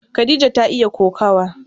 Khadija ta iya kokawa.